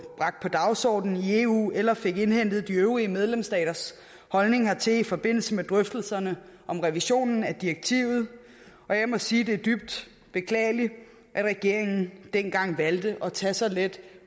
dagsordenen i eu eller fik indhentet de øvrige medlemsstaters holdning hertil i forbindelse med drøftelserne om revisionen af direktivet og jeg må sige at det er dybt beklageligt at regeringen dengang valgte at tage så let